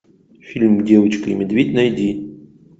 фильм девочка и медведь найди